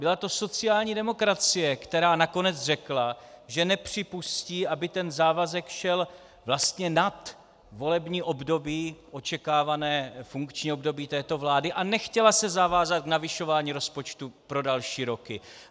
Byla to sociální demokracie, která nakonec řekla, že nepřipustí, aby ten závazek šel vlastně nad volební období, očekávané funkční období této vlády, a nechtěla se zavázat k navyšování rozpočtu pro další roky.